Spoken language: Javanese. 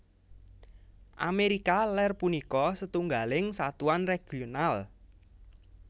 Amérika Lèr punika setunggaling satuan regional